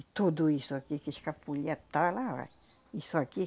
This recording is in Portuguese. E tudo isso aqui que escapulia tava lá, ó. Isso aqui.